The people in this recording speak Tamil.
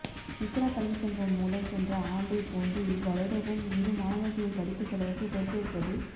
இக்ரா கல்விச் சங்கம் மூலம் சென்ற ஆண்டை போன்று இவ்வருடமும் இரு மாணவர்களின் படிப்பு செலவுக்கு பொறுப்பேற்பது